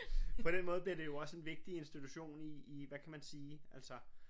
På den måde bliver det jo også en vigtig institution i i hvad kan man sige altså